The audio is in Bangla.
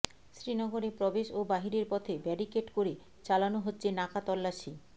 শ্রীনগরে প্রবেশ ও বাহিরের পথে ব্যারিকেড করে চালানো হচ্ছে নাকা তল্লাশি